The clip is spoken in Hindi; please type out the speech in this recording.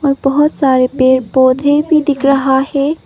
और बहोत सारे पेड़ पौधे भी दिख रहा है।